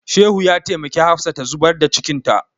Shehu ya taimaki Hafsa ta zubar da cikinta.